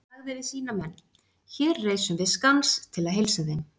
Hann sagði við sína menn:-Hér reisum við skans til að heilsa þeim!